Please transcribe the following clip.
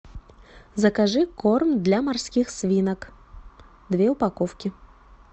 закажи корм для морских свинок две упаковки